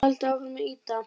Haldið áfram að ýta!